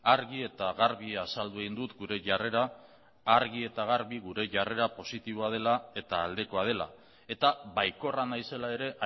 argi eta garbi azaldu egin dut gure jarrera positiboa dela eta aldekoa dela baikorra naizela ere